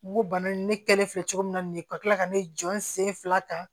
N ko bana in ne kɛlen filɛ cogo min na nin ye ka kila ka ne jɔ n sen fila ta